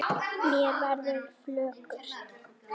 Mér verður flökurt